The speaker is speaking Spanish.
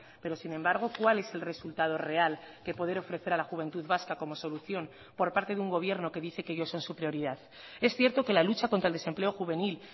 pero sin embargo cuál es el resultado real que poder ofrecer a la juventud vasca como solución por parte de un gobierno que dice que ellos son su prioridad es cierto que la lucha contra el desempleo juvenil